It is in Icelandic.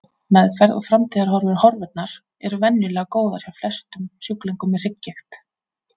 Meðferð og framtíðarhorfur Horfurnar eru venjulega góðar hjá flestum sjúklingum með hrygggigt.